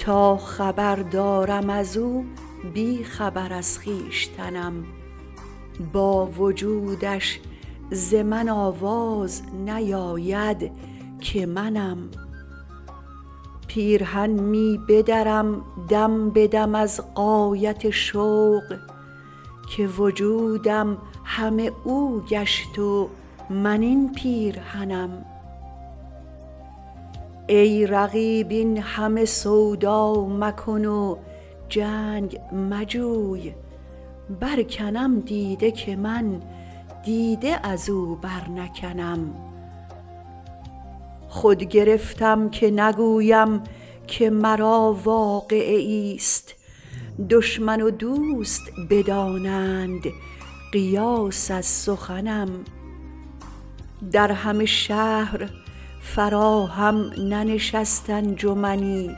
تا خبر دارم از او بی خبر از خویشتنم با وجودش ز من آواز نیاید که منم پیرهن می بدرم دم به دم از غایت شوق که وجودم همه او گشت و من این پیرهنم ای رقیب این همه سودا مکن و جنگ مجوی برکنم دیده که من دیده از او برنکنم خود گرفتم که نگویم که مرا واقعه ایست دشمن و دوست بدانند قیاس از سخنم در همه شهر فراهم ننشست انجمنی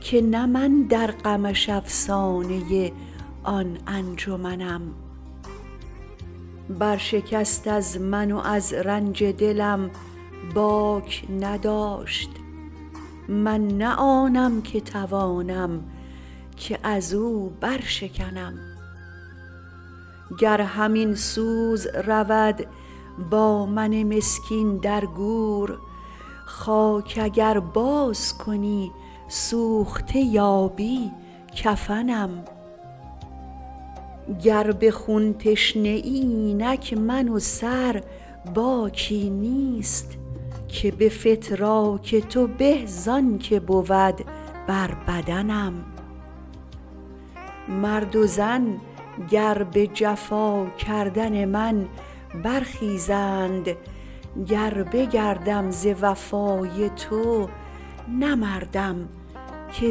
که نه من در غمش افسانه آن انجمنم برشکست از من و از رنج دلم باک نداشت من نه آنم که توانم که از او برشکنم گر همین سوز رود با من مسکین در گور خاک اگر بازکنی سوخته یابی کفنم گر به خون تشنه ای اینک من و سر باکی نیست که به فتراک تو به زان که بود بر بدنم مرد و زن گر به جفا کردن من برخیزند گر بگردم ز وفای تو نه مردم که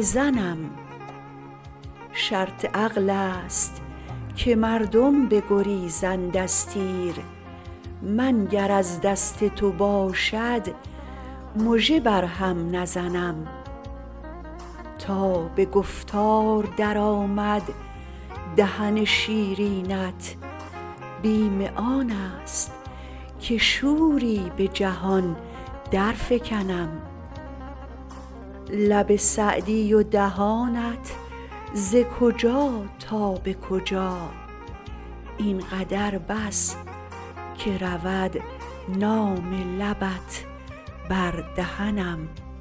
زنم شرط عقل است که مردم بگریزند از تیر من گر از دست تو باشد مژه بر هم نزنم تا به گفتار درآمد دهن شیرینت بیم آن است که شوری به جهان درفکنم لب سعدی و دهانت ز کجا تا به کجا این قدر بس که رود نام لبت بر دهنم